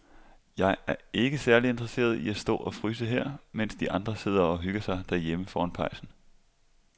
Jeg er ikke særlig interesseret i at stå og fryse her, mens de andre sidder og hygger sig derhjemme foran pejsen.